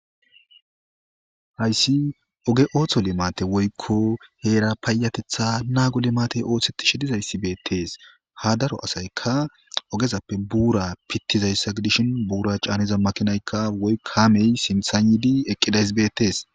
Haysi oge otho limate woyko hera payateta nago limate osetishe dizaysi betes ha daro asayika ogezappe bura pitizaysa gidishin bura c'aniza makinayka woy kamey sintan yidi eqidaysi betes.